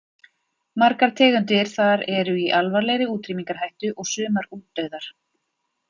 Margar tegundir þar eru í alvarlegri útrýmingarhættu og sumar útdauðar.